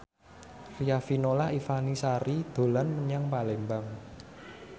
Riafinola Ifani Sari dolan menyang Palembang